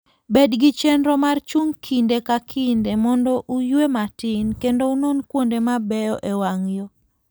Bed gi chenro mar chung' kinde ka kinde mondo uyue matin, kendo unon kuonde mabeyo e wang' yo.